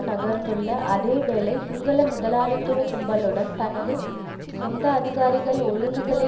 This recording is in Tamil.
நகர்ந்துள்ள அதே வேளை சிங்கள முதலாளித்துவ கும்பலுடன் தனது சொந்த அதிகாரிகள் ஒழுங்குகளை